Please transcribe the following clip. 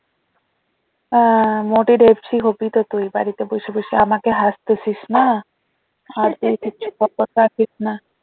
আহ মোটি ঢেপসি হবি তো তুই বাড়িতে বসে বসে আমাকে হাঁসতেসিস না